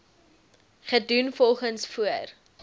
gedoen volgens voor